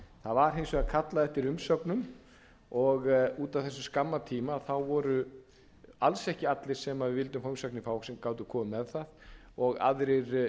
hins vegar kallað eftir umsögnum og út af þessum skamma tíma voru alls ekki allir sem við vildum fá umsagnir frá sem gátu komið með þær og aðrir